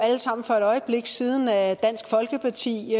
alle sammen for et øjeblik siden at dansk folkeparti